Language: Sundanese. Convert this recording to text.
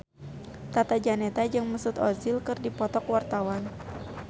Tata Janeta jeung Mesut Ozil keur dipoto ku wartawan